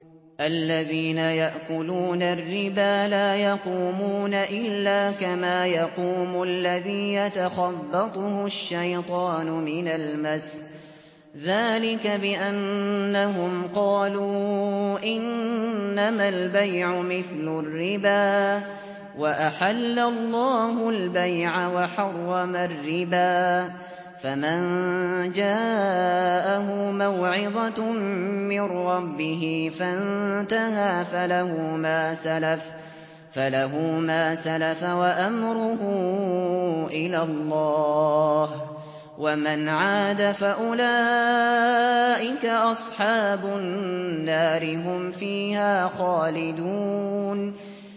الَّذِينَ يَأْكُلُونَ الرِّبَا لَا يَقُومُونَ إِلَّا كَمَا يَقُومُ الَّذِي يَتَخَبَّطُهُ الشَّيْطَانُ مِنَ الْمَسِّ ۚ ذَٰلِكَ بِأَنَّهُمْ قَالُوا إِنَّمَا الْبَيْعُ مِثْلُ الرِّبَا ۗ وَأَحَلَّ اللَّهُ الْبَيْعَ وَحَرَّمَ الرِّبَا ۚ فَمَن جَاءَهُ مَوْعِظَةٌ مِّن رَّبِّهِ فَانتَهَىٰ فَلَهُ مَا سَلَفَ وَأَمْرُهُ إِلَى اللَّهِ ۖ وَمَنْ عَادَ فَأُولَٰئِكَ أَصْحَابُ النَّارِ ۖ هُمْ فِيهَا خَالِدُونَ